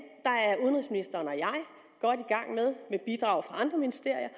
er udenrigsministeren og jeg med bidrag fra andre ministerier